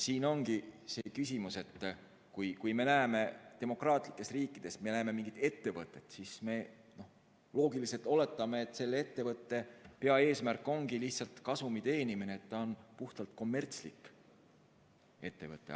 Siin ongi see küsimus, et kui me demokraatlikes riikides näeme mingit ettevõtet, siis me loogiliselt oletame, et selle ettevõtte hea eesmärk ongi lihtsalt kasumi teenimine ja et see on puhtalt kommertslik ettevõte.